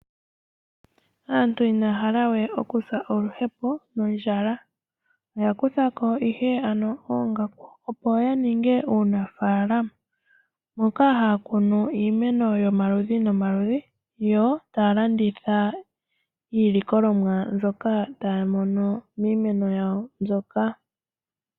Aantu inaya halawe okusa oluhepo nondjala oyakutha ko oongaku opo ya ninge iikunino moka haya kunu iimeno yomaludhi nomaludhi, yo taya landitha iilikolomwa ndyoka tayi imwa kiimeno yawo ndyoka.